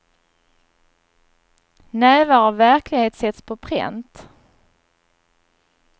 Nävar av verklighet sätts på pränt.